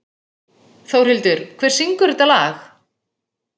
Þórhildur, hver syngur þetta lag?